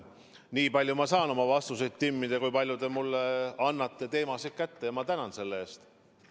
Nii palju saan ma oma vastuseid timmida, kui täpselt te mulle teemad kätte annate – ja ma tänan selle eest!